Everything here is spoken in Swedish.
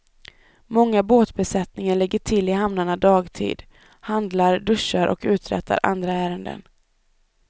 Många båtbesättningar lägger till i hamnarna dagtid, handlar, duschar och uträttar andra ärenden.